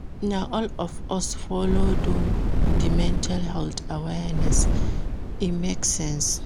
Na all of us folo do di mental health awareness, e make sense.